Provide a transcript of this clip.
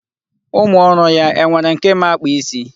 Ụmụ ọrụ ya, e nwere nke ma akpa isi?